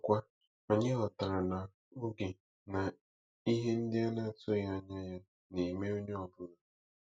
Ọzọkwa, anyị ghọtara na oge na ihe ndị a na-atụghị anya ya na-eme onye ọ bụla.